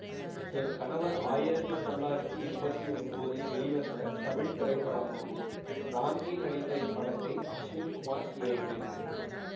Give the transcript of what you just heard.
என் கணவர் ஆயிரத்தி தொள்ளாயிரத்தி எம்பத்தி ஒன்போதில் வெளிவந்த தமிழ் திரைப்படமாகும் ராம்கி நடித்த இப்படத்தை அஸ்வின் குமார் இயக்கினார்